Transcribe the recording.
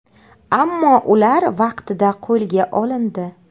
Ammo ular vaqtida qo‘lga olindi.